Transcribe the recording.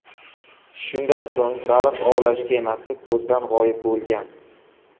Shundan so‘ng baliq ovlash kemasi ko‘zdan g‘oyib bo‘lgan.